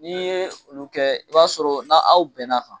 N'i ye olu kɛ i b'a sɔrɔ n'aw bɛnna a kan.